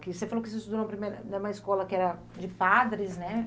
Que você falou que você estudou no primeiro em uma escola que era de padres, né?